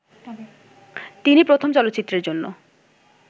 তিনি প্রথম চলচ্চিত্রের জন্য